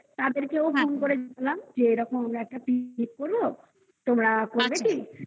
তাদেরকেও হুম যে এরকম একটা picnic করবো তোমরা করবে কি?